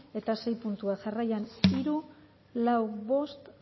eta sei puntuak jarraian hiru lau bost